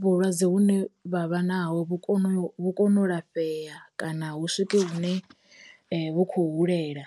vhulwadze hune vha vha naho vhu kono vhu kono u lafhea kana hu swike hune vhu khou hulela.